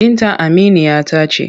Binta aminiya ta ce.